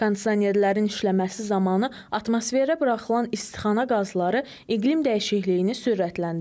Kondisionerlərin işləməsi zamanı atmosferə buraxılan istixana qazları iqlim dəyişikliyini sürətləndirir.